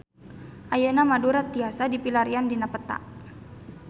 Ayeuna Madura tiasa dipilarian dina peta